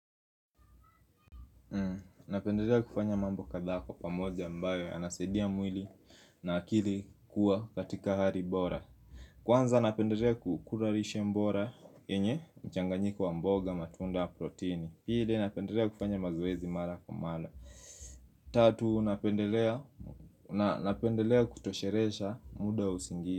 Napendelea kufanya mambo kadhaa kwa pamoja ambayo yanasaidia mwili na akili kuwa katika hari bora. Kwanza napendelea kukura lishe mbora yenye mchanganyiko wa mboga matunda ya protini. Pili napendelea kufanya mazoezi mala kwa mala. Tatu napendelea kutosheresha muda wa usingi.